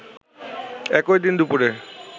একই দিন দুপুরে